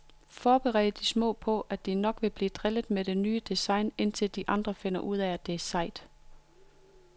Forbered de små på, at de nok bliver drillet med det nye design, indtil de andre finder ud af det er sejt.